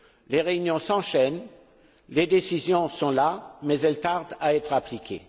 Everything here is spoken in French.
Les réunions s'enchaînent, les décisions sont là mais elles tardent à être appliquées.